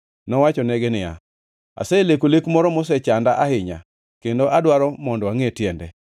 nowachonegi niya, “Aseleko lek moro mosechanda ahinya kendo adwaro mondo angʼe tiende.”